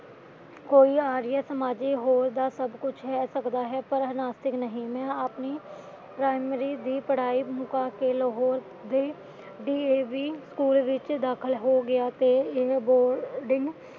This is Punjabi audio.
ਕੋਈ ਆਰੀਆ ਸਮਾਜੀ ਹੋਰ ਦਾ ਸਬਕੁਛ ਲੈ ਸਕਦਾ ਹੈ, ਪਰ ਹਿਨਾਸਿਨ ਨਹੀਂ ਮੈਂ ਆਪਣੀ ਪ੍ਰਾਇਮਰੀ ਦੀ ਪੜ੍ਹਾਈ ਮੁਕਾ ਕੇ ਲਾਹੌਰ ਦੇ ਡੀਏਵੀ ਸਕੂਲ ਵਿੱਚ ਦਾਖਲਾ ਲੈਲਿਆ